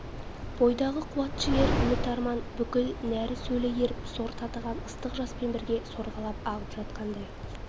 бойдағы қуат-жігер үміт-арман бүкіл нәрі-сөлі еріп сор татыған ыстық жаспен бірге сорғалап ағып жатқандай